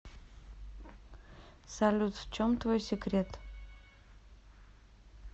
салют в чем твой секрет